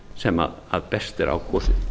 sem best er á kosið